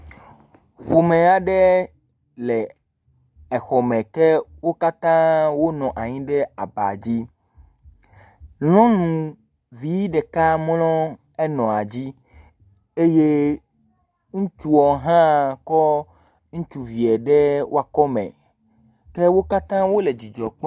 ƒomɛ aɖɛ lɛ exɔmɛ ke wókatã wo nɔ anyi ɖe aba dzi nyɔŋuvi ɖeka mlɔ enɔa dzi eye ŋutsuɔ hã kɔ ŋutsuvie ɖe woa kɔmɛ ke wókatã wóle dzidzɔkpɔm